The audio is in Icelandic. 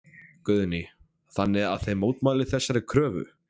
Guðný: Þannig að þið mótmælið þessari kröfu?